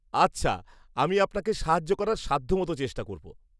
আচ্ছা, আমি আপনাকে সাহায্য করার সাধ্যমতো চেষ্টা করব।